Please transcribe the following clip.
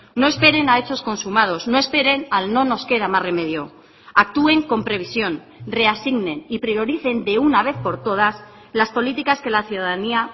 no esperen a hechos consumados no esperen al no nos queda más remedio actúen con previsión reasignen y prioricen de una vez por todas las políticas que la ciudadanía